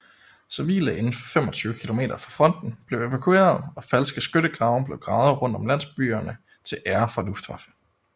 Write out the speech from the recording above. Civile indenfor 25 kilometer fra fronten blev evakueret og falske skyttegrave blev gravet rundt om landsbyerne til ære for Luftwaffe